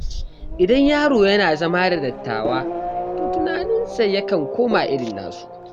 Idan yaro yana zama da dattawa, to tunaninsa yakan koma irin nasu.